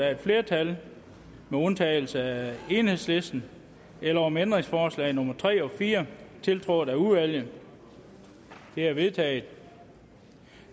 et flertal med undtagelse af enhedslisten eller om ændringsforslag nummer tre og fire tiltrådt af udvalget de er vedtaget